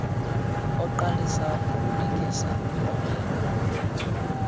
oqalisa ngokulungisa obe